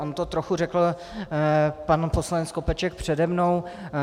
On to trochu řekl pan poslanec Skopeček přede mnou.